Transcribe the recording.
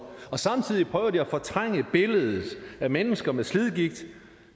og samtidig prøver de at fortrænge billedet af mennesker med slidgigt